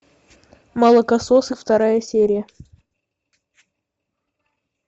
молокососы вторая серия